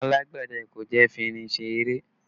Alágbẹ̀dẹ kò jẹ́ fi irin ṣe eré